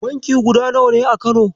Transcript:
Banki guda nawa ne a Kano?